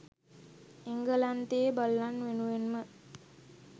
එංගලන්තයේ බල්ලන් වෙනුවෙන්ම